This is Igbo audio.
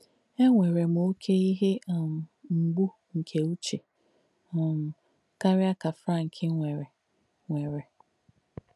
Ènwèrè m óké íhe um m̀gbù nkè ùchē um kàríà kà Fránk nwèrè. nwèrè.